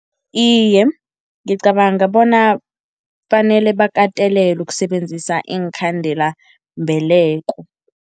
Iye, ngicabanga bona fanele bakatelelwe ukusebenzisa iinkhandelambeleko.